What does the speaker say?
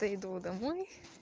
дойду домой